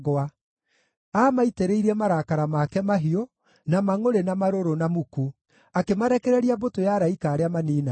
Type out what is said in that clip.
Aamaitĩrĩirie marakara make mahiũ, na mangʼũrĩ, na marũrũ, na muku: akĩmarekereria mbũtũ ya araika arĩa maniinanaga.